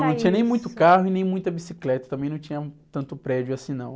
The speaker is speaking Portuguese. Não, não tinha nem muito carro e nem muita bicicleta, também não tinha tanto prédio assim não.